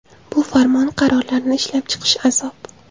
Bu farmon, qarorlarni ishlab chiqish azob.